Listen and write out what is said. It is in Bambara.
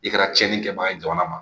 I kɛra cɛni kɛbaga ye jamana ma